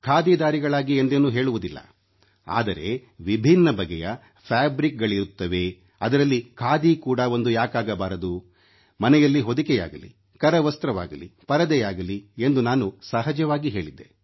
ಖಾದಿಧಾರಿಗಳಾಗಿ ಎಂದೇನೂ ಹೇಳುವುದಿಲ್ಲ ಆದರೆ ವಿಭಿನ್ನ ಬಗೆಯ ಫ್ಯಾಬ್ರಿಕ್ಗಳಿರುತ್ತವೆ ಅದರಲ್ಲಿ ಖಾದಿ ಕೂಡಾ ಒಂದು ಯಾಕಾಗಬಾರದು ಮನೆಯಲ್ಲಿ ಹೊದಿಕೆಯಾಗಲಿ ಕರವಸ್ತ್ರವಾಗಲಿ ಪರದೆಯಾಗಲಿ ಎಂದು ನಾನು ಸಹಜವಾಗಿ ಹೇಳಿದ್ದೆ